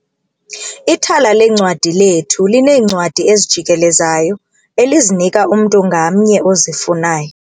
Ithala leencwadi lethu lineencwadi ezijikelezayo elizinika umntu ngamnye ozifunayo.